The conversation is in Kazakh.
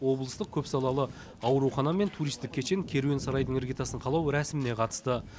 облыстық көпсалалы аурухана мен туристік кешен керуен сарайдың іргетасын қалау рәсіміне қатысты